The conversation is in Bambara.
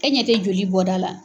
E ɲɛ tɛ joli bɔ da la?